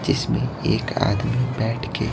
जिसमें एक आदमी बैठ के--